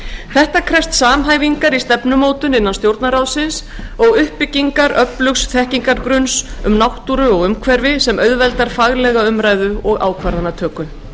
þetta krefst samhæfingar í stefnumótun innan stjórnarráðsins og uppbyggingar öflugs þekkingargrunns um náttúru og umhverfi sem auðveldar faglega umræðu og ákvarðanatöku